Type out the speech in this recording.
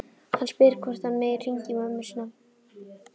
Hann spyr hvort hann megi hringja í mömmu sína.